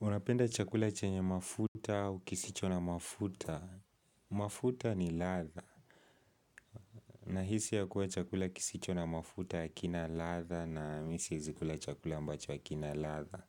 Unapenda chakula chenye mafuta au kisicho na mafuta? Mafuta ni ladha. Nahisi kuwa chakula kisicho na mafuta hakina ladha na mimi siwezikula chakula ambacho akina ladha.